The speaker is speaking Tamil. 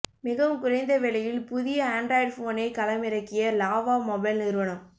மிகவும் குறைந்த விலையில் புதிய ஆன்ட்ராய்டு போனை களமிறக்கிய லாவா மொபைல் நிறுவனம்